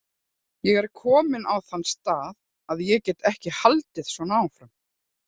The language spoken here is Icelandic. Ég er kominn á þann stað að ég get ekki haldið svona áfram.